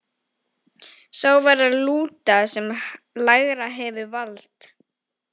Sá verður að lúta sem lægra hefur vald.